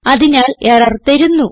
അതിനാൽ എറർ തരുന്നു